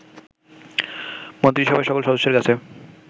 মন্ত্রীসভার সকল সদস্যদের কাছে